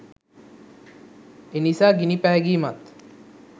එනිසා ගිනි පෑගීමත්